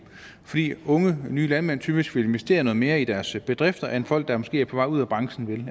fordi unge nye landmænd typisk vil investere noget mere i deres bedrifter end folk der måske er på vej ud af branchen